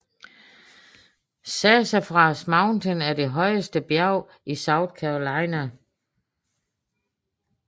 Sassafras Mountain er det højeste bjerg i South Carolina